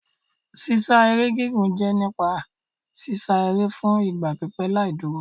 Sísá eré gígùn jẹ́ nípa sísá eré fún ìgbà pípẹ́ láì dúró.